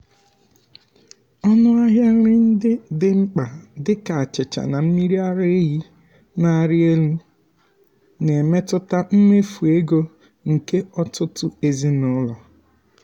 ọnụ ahịa nri ndị dị mkpa dịka achịcha na mmiri ara ehi na-arị elu na-emetụta mmefu ego nke ọtụtụ ezinụlọ.